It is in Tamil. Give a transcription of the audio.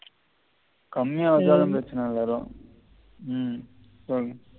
கம்மியா இருந்தாலும் பிரச்சின இல்ல உம் சொல்லுங்க